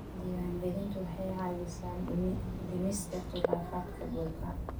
Diiwaangelintu waxay caawisaa dhimista khilaafaadka dhulka.